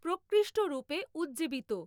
প্রকৃষ্ট রূপে উজ্জীবিত।